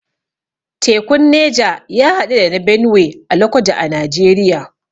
Tekun Neja ya haɗu da na Benue a lokoja a Najeriya